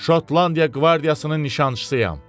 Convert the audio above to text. Şotlandiya qvardiyasının nişançısıyam.